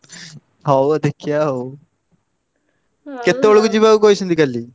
ହଉ ଆଉ ଦେଖିବା ଆଉ କେତବେଳକୁ ଯିବାକୁ କହିଛନ୍ତୁ କାଲି?